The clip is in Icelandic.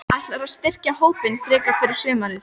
Ætlarðu að styrkja hópinn frekar fyrir sumarið?